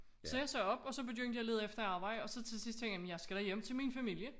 Så jeg sagde op og så begyndte jeg at lede efter arbejde og så til sidst tænkte jeg jamen jeg skal da hjem til min familie